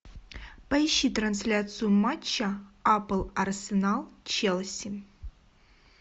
поищи трансляцию матча апл арсенал челси